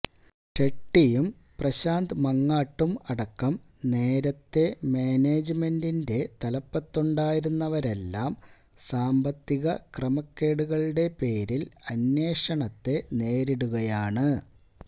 ഷെട്ടിയും പ്രശാന്ത് മങ്ങാട്ടും അടക്കം നേരത്തെ മാനേജ്മെന്റിന്റെ തലപ്പത്തുണ്ടായിരുന്നവരെല്ലാം സാമ്പത്തിക ക്രമക്കേടുകളുടെ പേരിൽ അന്വേഷണത്തെ നേരിടുകയാണ്